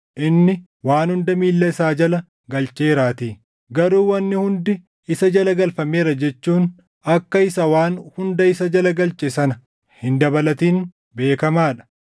Inni, “Waan hunda miilla isaa jala galcheeraatii.” + 15:27 \+xt Far 8:6\+xt* Garuu “Wanni hundi” isa jala galfameera jechuun akka isa waan hunda isa jala galche sana hin dabalatin beekamaa dha.